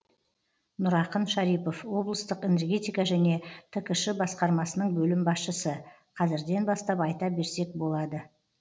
нұрақын шарипов облыстық энергетика және ткш басқармасының бөлім басшысы қазірден бастап айта берсек болады